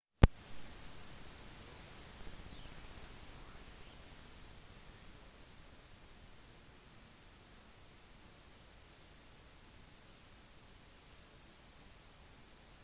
jordskjelvet traff mariana kl. 07:19 lokal tid 19:19. gmt fredag